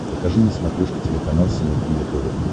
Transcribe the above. покажи на смотрешке телеканал синергия тв